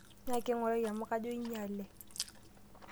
Nyaaki ng'urai amu kajo inyale.